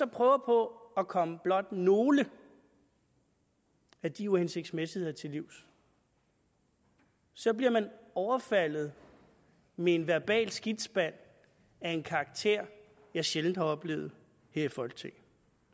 prøver på at komme blot nogle af de uhensigtsmæssigheder til livs så bliver man overfaldet med en verbal skidtspand af en karakter jeg sjældent har oplevet her i folketinget